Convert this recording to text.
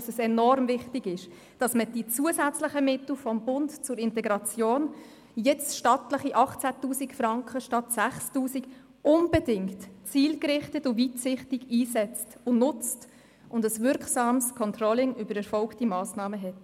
Es ist enorm wichtig, dass man die zusätzlichen Mittel des Bundes zur Integration – jetzt stattliche 18 000 Franken statt 6000 Franken – unbedingt zielgerichtet, weitsichtig einsetzt und nutzt und ein wirksames Controlling über erfolgte Massnahmen hat.